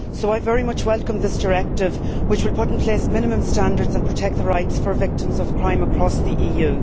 So I very much welcome this directive, which will put in place minimum standards and protect the rights of victims of crime across the EU.